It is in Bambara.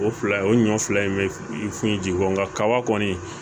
O fila o ɲɔn fila in bɛ finji ji kɔ nka kaba kɔni